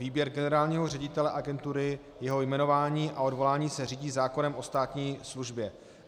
Výběr generálního ředitele agentury, jeho jmenování a odvolání se řídí zákonem o státní službě.